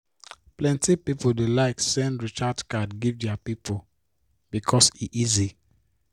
plenty people dey like send recharge card give their people because e easy